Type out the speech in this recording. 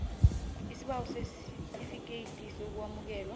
isibawo sesitifikethi sokwamukelwa